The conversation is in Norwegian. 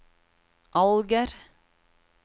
Alger